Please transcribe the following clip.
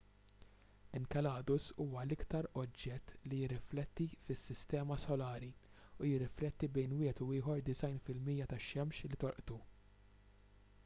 enceladus huwa l-iktar oġġett li jirrifletti fis-sistema solari u jirrifletti bejn wieħed u ieħor 90 fil-mija tax-xemx li tolqtu